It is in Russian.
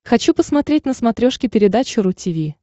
хочу посмотреть на смотрешке передачу ру ти ви